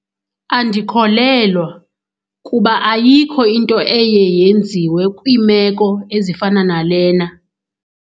Andikholelwa, kuba ayikho into eye yenziwe kwiimeko ezifana nalena.